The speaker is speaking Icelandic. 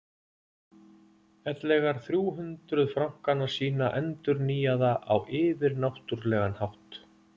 ellegar þrjú hundruð frankana sína endurnýjaða á yfirnáttúrlegan hátt.